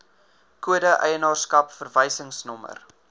kode eienaarskap verwysingsnommer